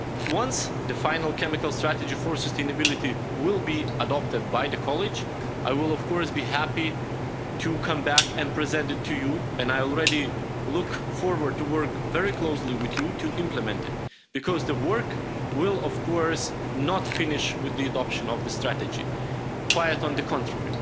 Once the final chemical strategy for sustainability has been adopted by the College, I will, of course, be happy to come back and present it to you and I already look forward to working very closely with you to implement it, because the work will, of course, not finish with the adoption of the strategy, quite the contrary.